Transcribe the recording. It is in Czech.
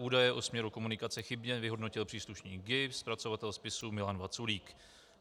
Údaje o směru komunikace chybně vyhodnotil příslušník GIBS zpracovatel spisu Milan Vaculík.